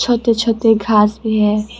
छोटे छोटे घास भी हैं।